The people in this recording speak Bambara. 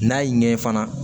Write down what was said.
N'a y'i ɲɛ fana